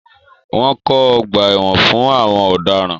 Wọ́n kọ́ ọgbà ẹ̀wọ̀n fún àwọn ọ̀daràn.